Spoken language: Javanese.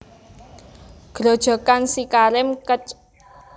Grojogan SiKarim Kec